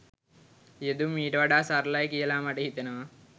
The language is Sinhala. යෙදුම් ඊට වඩා සරලයි කියලා මට හිතෙනවා